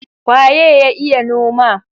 Waye ya iya noma?